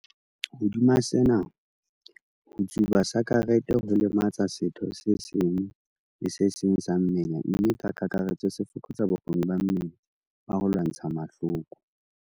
Hodima sena, ho tsuba sakerete ho lematsa setho se seng le se seng sa mmele mme ka kakaretso se fokotsa bokgoni ba mmele ba ho lwantsha mahloko.